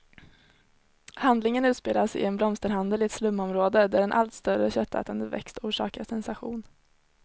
Handlingen utspelas i en blomsterhandel i ett slumområde, där en allt större köttätande växt orsakar sensation.